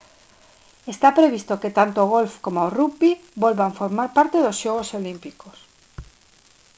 está previsto que tanto o golf coma o rugby volvan formar parte dos xogos olímpicos